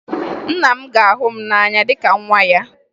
Nna m ga-ahụ m n'anya dịka nwa ya